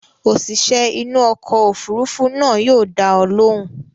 Òṣìṣẹ́ inú ọkọ̀ òfurufú náà yóò dá ọ lóhùn.